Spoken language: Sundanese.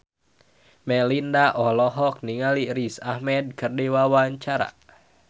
Melinda olohok ningali Riz Ahmed keur diwawancara